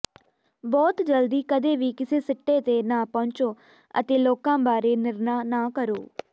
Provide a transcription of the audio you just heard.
ਬਹੁਤ ਜਲਦੀ ਕਦੇ ਵੀ ਕਿਸੇ ਸਿੱਟੇ ਤੇ ਨਾ ਪਹੁੰਚੋ ਅਤੇ ਲੋਕਾਂ ਬਾਰੇ ਨਿਰਣਾ ਨਾ ਕਰੋ